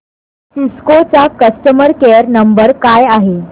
Cisco चा customer care number काय आहे